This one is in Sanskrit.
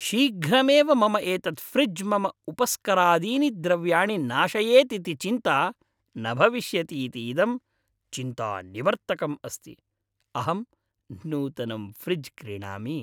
शीघ्रमेव मम एतत् फ़्रिज् मम उपस्करादीनि द्रव्याणि नाशयेत् इति चिन्ता न भविष्यति इति इदं चिन्तानिवर्तकम् अस्ति। अहं नूतनं फ़्रिज् क्रीणामि।